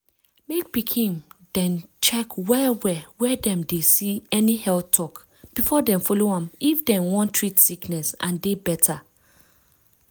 mek pikin dem check well well where dem dey see any health talk before dem follow am if dem wan treat sickness and dey better.